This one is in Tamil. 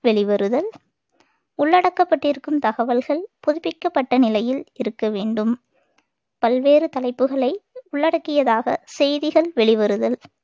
வெளிவருதல் உள்ளடக்கப்பட்டிருக்கும் தகவல்கள் புதுப்பிக்கப்பட்ட நிலையில் இருக்க வேண்டும் பல்வேறு தலைப்புகளை உள்ளடக்கியதாக செய்திகள் வெளிவருதல்